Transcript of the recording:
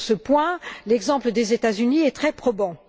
Sur ce point, l'exemple des États Unis est très probant.